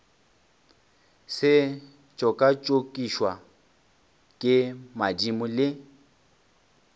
se tšokatšokišwe ke madimo le